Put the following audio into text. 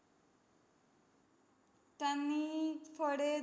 त्यांनी फळे